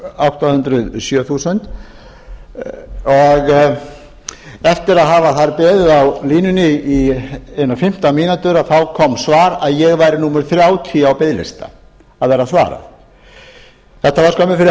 átta hundruð sjö þúsund og eftir að hafa beðið á línunni í einar fimmtán mínútur kom svar um að ég væri númer þrjátíu á biðlista að vera svarað þetta var skömmu fyrir hádegi þannig